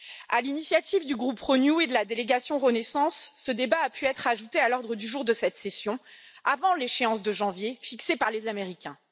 À l'initiative du groupe Renew et de la délégation Renaissance, ce débat a pu être ajouté à l'ordre du jour de cette session, avant l'échéance de janvier fixée par les Américains.